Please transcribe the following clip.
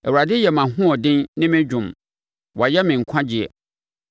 Awurade yɛ mʼahoɔden ne me dwom; wayɛ me nkwagyeɛ.